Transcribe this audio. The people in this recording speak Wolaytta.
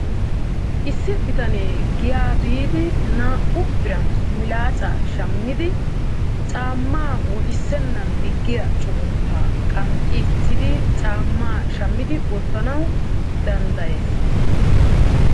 Issi bitane giyaa biidi naa''u biran milaacca shammidi caamaa wottiseenaan diggiya cuggunttaa qanxxichchiidi caammaa shammiidi wottanawu danddayees.